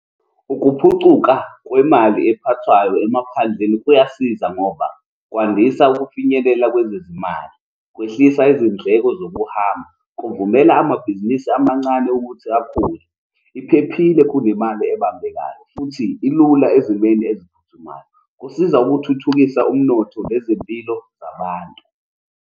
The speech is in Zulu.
Ukuphucuka kwemali ephathwayo emaphandleni kuyasiza ngoba kwandisa ukufinyelela kwezezimali, kwehlisa izindleko zokuhamba. Kuvumela amabhizinisi amancane ukuthi akhule, iphephile kunemali ebambekayo, futhi ilula ezimeni eziphuthumayo. Kusiza ukuthuthukisa umnotho nezempilo zabantu.